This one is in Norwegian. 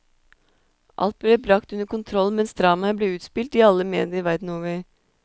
Alt ble bragt under kontroll mens dramaet ble utspilt i alle medier verden over.